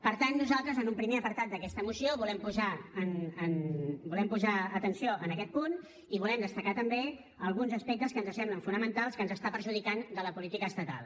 per tant nosaltres en un primer apartat d’aquesta moció volem posar atenció en aquest punt i volem destacar també alguns aspectes que ens semblen fonamentals que ens està perjudicant de la política estatal